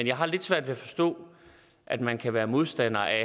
jeg har lidt svært ved at forstå at man kan være modstander af